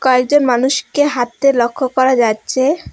কয়েকজন মানুষকে হাঁটতে লক্ষ্য করা যাচ্ছে।